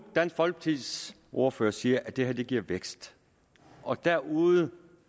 dansk folkepartis ordfører siger at det her giver vækst og derude